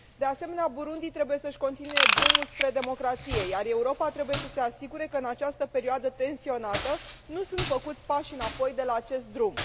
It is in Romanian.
De asemenea, Burundi trebuie să și continue drumul spre democrație, iar Europa trebuie să se asigure că în această perioadă tensionată nu sunt făcuți pași înapoi de pe acest drum.